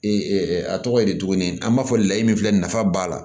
a tɔgɔ ye di tuguni an b'a fɔ layi min filɛ nin nafa b'a la